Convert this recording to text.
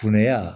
Funanya